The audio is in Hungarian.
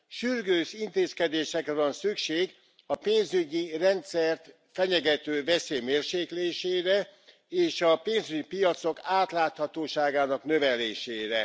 Sürgős intézkedésekre van szükség a pénzügyi rendszert fenyegető veszély mérséklésére és a pénzügyi piacok átláthatóságának növelésére.